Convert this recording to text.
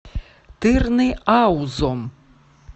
тырныаузом